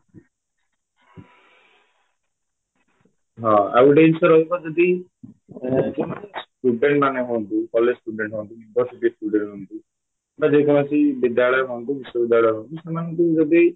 ହଁ ଆଉଗୋଟିଏ ଜିନିଷ ରହିବ ଯଦି student ମାନେ ହୁଅନ୍ତୁ college student ହୁଅନ୍ତୁ university student ହୁଅନ୍ତୁ ବା ଯେକୌଣସି ବିଦ୍ୟାଳୟ ହୁଅନ୍ତୁ ବିଶ୍ୱ ବିଦ୍ୟାଳୟ ହୁଅନ୍ତୁ ସେମାଙ୍କୁ ଯଦି